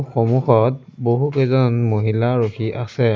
সম্মুখত বহুকেইজন মহিলা ৰখি আছে।